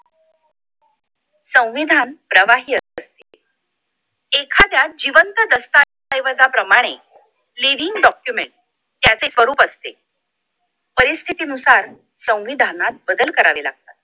संविधान प्रवाही असते एखाद्या जिवंत दस्तावेजांप्रमाणे leading document त्याचे स्वरूप असते परिस्थितीनुसार संविधानात बदल करावे लागतात